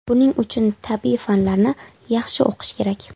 Buning uchun tabiiy fanlarni yaxshi o‘qish kerak”.